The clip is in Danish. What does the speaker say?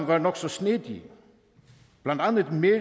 var nok så snedige blandt andet mere